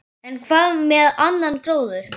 En hvað með annan gróður?